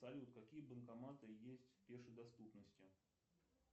салют какие банкоматы есть в пешей доступности